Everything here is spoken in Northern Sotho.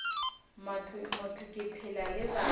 motho ke phela le batho